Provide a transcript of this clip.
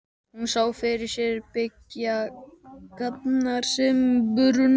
Hún sá fyrir sér byggingarnar sem brunnu.